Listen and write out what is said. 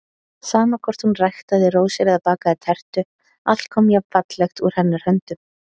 Sama hvort hún ræktaði rósir eða bakaði tertu, allt kom jafnfallegt úr hennar höndum.